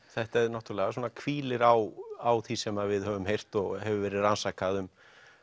þetta náttúrulega hvílir á því sem við höfum heyrt og hefur verið rannsakað um